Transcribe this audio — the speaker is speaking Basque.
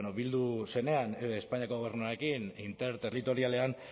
bueno bildu zenean espainiako gobernuarekin interterritorialean